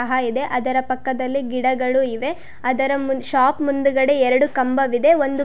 ಸಹ ಇದೆ ಅದರ ಪಕ್ಕದಲ್ಲಿ ಗಿಡಗಳು ಇವೆ ಅದರ ಮುಂ ಶಾಪ್ ಮುಂದುಗಡೆ ಎರಡು ಕಂಬವಿದೆ ಒಂದು---